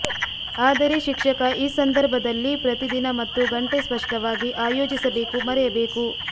ಆದರೆ ಶಿಕ್ಷಕ ಈ ಸಂದರ್ಭದಲ್ಲಿ ಪ್ರತಿ ದಿನ ಮತ್ತು ಗಂಟೆ ಸ್ಪಷ್ಟವಾಗಿ ಆಯೋಜಿಸಬೇಕು ಮರೆಯ ಬೇಕು